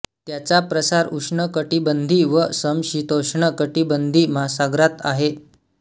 त्याचा प्रसार उष्ण कटिबंधी व समशीतोष्ण कटिबंधी महासागरांत आहे